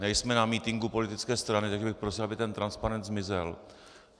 Nejsme na mítinku politické strany, tak bych prosil, aby ten transparent zmizel.